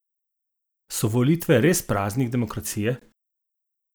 So volitve res praznik demokracije?